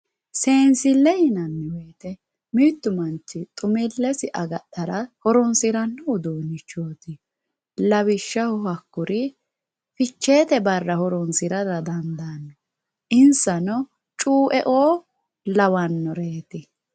Seensile yinanni woyte mitu manchi xumilesi agadhara horonsirano uduunchoti lawishshaho hakkuri ficheete barra horonsirara dandaano insano cueo lawanoreti.